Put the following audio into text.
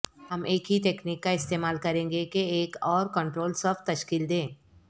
ہم ایک ہی تکنیک کا استعمال کریں گے کہ ایک اور کنٹرول صف تشکیل دیں